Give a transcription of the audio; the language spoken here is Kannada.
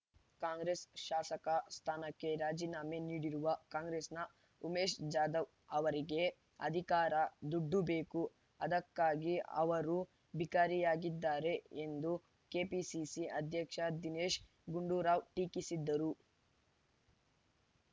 ಕಾಂಗ್ರೆಸ್ ಶಾಸಕ ಸ್ಥಾನಕ್ಕೆ ರಾಜೀನಾಮೆ ನೀಡಿರುವ ಕಾಂಗ್ರೆಸ್‌ನ ಉಮೇಶ್ ಜಾಧವ್ ಅವರಿಗೆ ಅಧಿಕಾರ ದುಡ್ಡು ಬೇಕು ಅದಕ್ಕಾಗಿ ಅವರು ಬಿಕರಿಯಾಗಿದ್ದಾರೆ ಎಂದು ಕೆಪಿಸಿಸಿ ಅಧ್ಯಕ್ಷ ದಿನೇಶ್ ಗುಂಡೂರಾವ್ ಟೀಕಿಸಿದರು